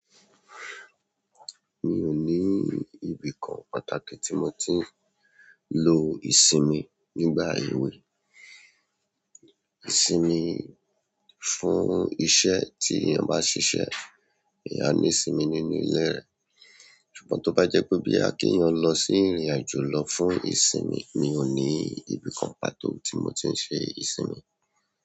Mi ò ní ibìkan pàtàkì tí mo ti ń lo ìsinmi nígbà èwe. Ìsinmi fún iṣẹ́ tí èèyàn bá ṣiṣẹ́, èèyàn a ní ìsinmi nínú ilé rẹ̀. Ṣùgbọ́n tó bá jẹ́ pé boya ki eeyan lọ sí ìrìnàjò lọ fún ìsinmi, mi ò ní ibìkan pàtó tí mo ti ń ṣe ìsinmi.